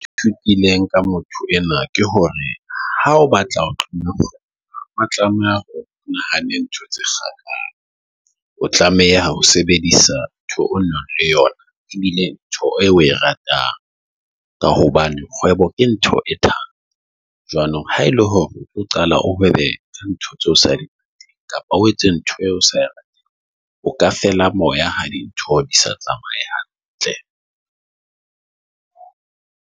Ke fitileng ka motho enoa ke hore, ha o batla nahane ntho tse kang, o tlameha ho sebedisa ntho o nang le yona. Ebile ntho eo oe ratang ka hobane kgwebo ke ntho e tlang jwanong. Ha ele hore o qala, o haebe ntho tseo sa di kapa o etse ntho eo. O ka feela moya ha dintho di sa tsamaye hantle.